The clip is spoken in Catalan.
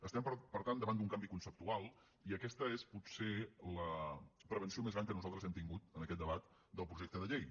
estem per tant davant d’un canvi conceptual i aquesta és potser la prevenció més gran que nosaltres hem tingut en aquest debat del projecte de llei